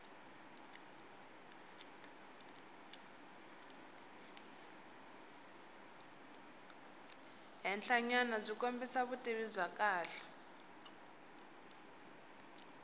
henhlanyanabyi kombisa vutivi bya kahle